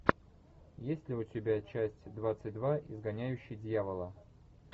есть ли у тебя часть двадцать два изгоняющий дьявола